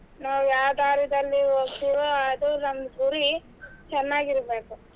ನಾವ್ ಯಾವ್ ದಾರಿದಲ್ಲಿ ಹೋಗ್ತಿವೋ ಅದೇ ನಮ್ ಗುರಿ ಚೆನ್ನಾಗಿರ್ಬೇಕು.